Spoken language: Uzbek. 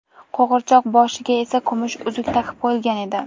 Qo‘g‘irchoq boshiga esa kumush uzuk taqib qo‘yilgan edi.